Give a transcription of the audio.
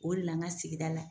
O de la ŋa sigida la